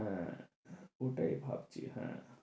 হ্যাঁ, ওটাই ভাবছি,